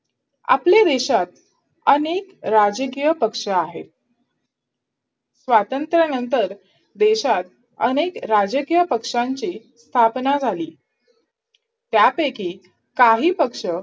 आपल्या देशात अनेक राजकीय पक्ष आहेत स्वातंत्र्यानंतर देशात अनेक राजकीय पक्षांची स्थापना झाली त्यापैकी काही पक्ष